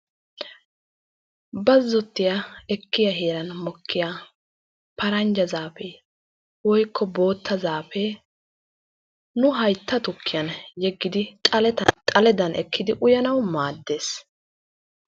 Bazzotti ekkiya heeran mokkiya paranjja zaafee woykko bootta zaafee nu haytta tukkiyan yeggidi xaledan go"ettidi uyanawu maaddes.